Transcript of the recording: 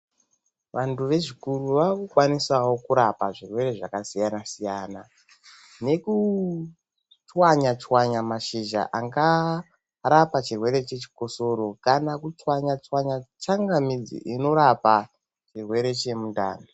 Vanthu vechikuru vakukwanisawo kurapa zvirwere zvakasiyana siyana nekutswanya tswanya mashizha angarapa chirwere chechikosoro, kana kutswanya tswanya tsangamidzi inorapa chirwere chemundani